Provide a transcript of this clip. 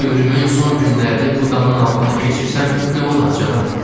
Ömrümün son günlərini bu damın altında keçirsəm, nə olar, cənab?"